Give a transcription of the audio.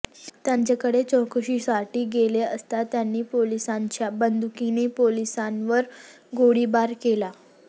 त्याच्याकडे चौकशीसाठी गेले असता त्यांनी पोलिसांच्याच बंदुकिने पोलिसांवरच गोळीबार केला